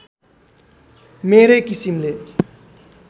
मेरै किसिमले